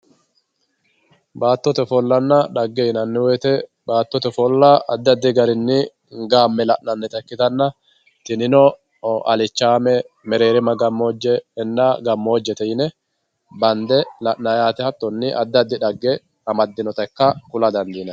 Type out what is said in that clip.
baattote ofollanna xagge yinanniti baattote ofollanna addi addi garinni gaame la'nanita ikkitanna tinino alichaame, mereerima gammojje inna gammojjete yine bande la'nayi yaate hatonni addi addi xagge amadinota ikka kula dandiinayi.